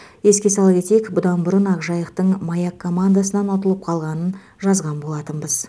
еске сала кетейік бұдан бұрын ақжайықтың маяк командасынан ұтылып қалғанын жазған болатынбыз